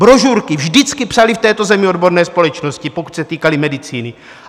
Brožurky vždycky psaly v této zemi odborné společnosti, pokud se týkaly medicíny.